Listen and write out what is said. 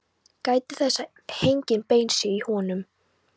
Gætið þess að engin bein séu í honum.